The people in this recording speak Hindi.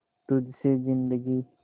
तुझ से जिंदगी